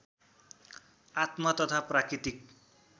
आत्म तथा प्राकृतिक